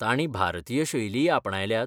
तांणीं भारतीय शैलीय आपणायल्यात?